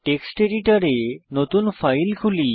text এডিটরে নতুন file খুলি